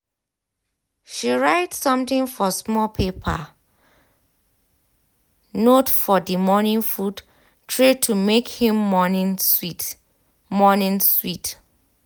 she write something for small paper note for the morning food tray to make him morning sweet. morning sweet.